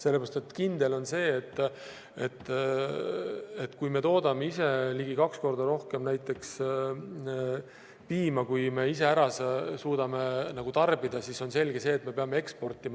Sellepärast, et kindel on see, et kui me toodame ise ligi kaks korda rohkem piima, kui me ära suudame tarbida, siis on selge see, et me peame eksportima.